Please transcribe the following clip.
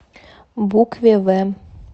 букве в